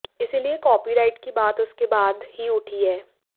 इसलिये कापीराइट की बात उसके बाद ही उठी है